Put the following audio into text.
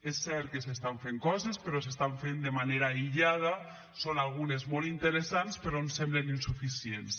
és cert que s’estan fent coses però s’estan fent de manera aïllada són algunes molt interessants però ens semblen insuficients